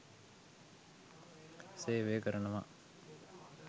සේවය කරනවා.